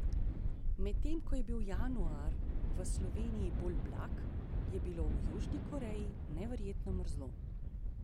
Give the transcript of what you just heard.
Medtem ko je bil januar v Sloveniji bolj blag, je bilo v Južni Koreji neverjetno mrzlo.